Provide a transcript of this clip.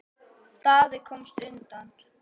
Daði komst undan.